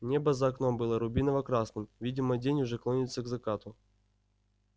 небо за окном было рубиново-красным видимо день уже клонится к закату